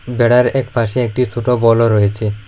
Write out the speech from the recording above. বেড়ার একপাশে একটি ছোট বলও রয়েছে।